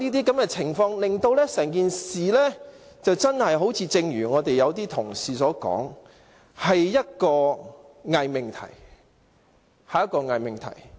這些情況令整件事情真的好像有些同事所說般，是一個偽命題。